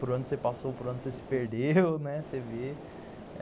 Para onde você passou, para onde você se perdeu, né, você vê.